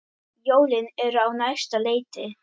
Jólin eru á næsta leiti.